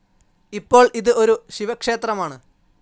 ഇപ്പോൾ ഇത് ഒരു ശിവക്ഷേത്രമാണ്.